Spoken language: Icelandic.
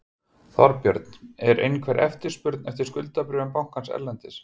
Þorbjörn: Er einhver eftirspurn eftir skuldabréfum bankans erlendis?